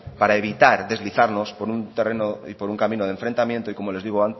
para evitar deslizarnos por un terreno y por un camino de enfrentamientos y